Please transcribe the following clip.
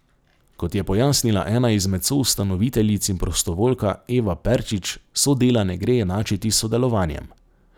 Kot je pojasnila ena izmed soustanoviteljic in prostovoljka Eva Perčič, sodela ne gre enačiti s sodelovanjem.